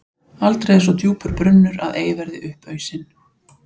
Aldrei er svo djúpur brunnur að ei verði upp ausinn.